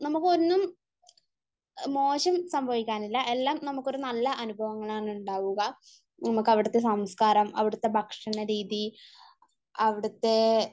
നമുക്ക് ഒന്നും മോശം സംഭവിക്കാൻ ഇല്ല . എല്ലാം നമുക്കൊരു നല്ല അനുഭവങ്ങൾ ആണ് ഉണ്ടാവുക . നമ്മക്ക് അവിടുത്തെ സംസ്കാരം, അവിടുത്തെ ഭക്ഷണരീതി, അവിടുത്തെ